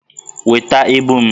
Weta ibu m!